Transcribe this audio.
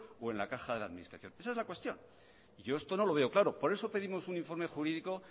o en la caja de la administración esa es la cuestión yo esto no lo veo claro por eso pedimos un informe jurídico